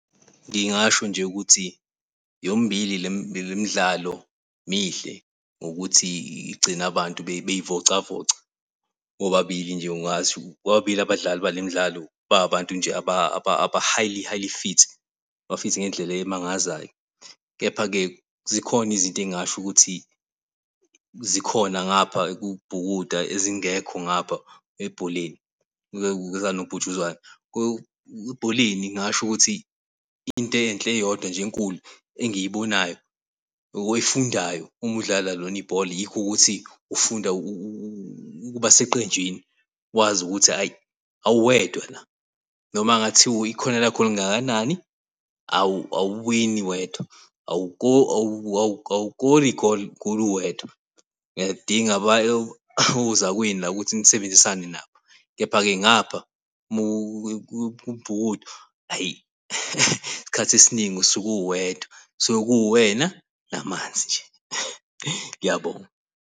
Ngingasho nje ukuthi yombili lemidlalo mihle ngokuthi igcina abantu bey'vocavoca. Bobabili nje ngathi bobabili abadlali bale mdlalo bayabantu aba-highly highly fit. Ba-fit ngendlela emangazayo. Kepha-ke zikhona izinto engingasho ukuthi zikhona ngapha kukubhukuda ezingekho ngapha ebholeni likanobhutshuzwayo. Ebholeni ngasho ukuthi into enhle eyodwa enkulu engiyibonayo or oyifundayo uma udlala lona ibhola yikho ukuthi ufunda ukuba seqenjini, wazi ukuthi hhayi awuwedwa la. Noma kungathiwa ikhono lakho lingakanani awuwini wedwa, awukori igoli uwedwa. Uyalidinga ozakwenu la ukuthi nisebenzisane nabo. Kepha-ke ngapha kukubhukuda hhayi isikhathi esiningi usuke uwedwa suke kuwena, namanzi nje . Ngiyabonga.